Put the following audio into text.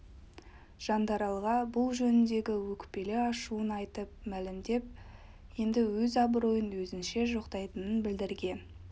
жандаралға бұл жөніндегі өкпелі ашуын айтып мәлімдеп енді өз абыройын өзінше жоқтайтынын білдірген